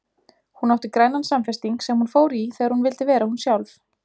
Hún átti grænan samfesting sem hún fór í þegar hún vildi vera hún sjálf.